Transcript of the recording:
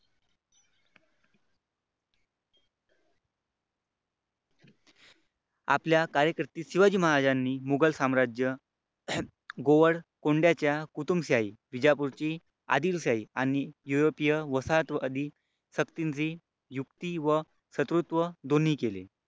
आपल्या कारकीर्दीत शिवाजी महाराजांनी मुघल साम्राज्य गोवळकोंडाच्या कुतुबशाही विजापूरची आदिलशाही आणि युरोपीय वसाहतवादी युक्ती व शत्रुत्व दोन्ही केले.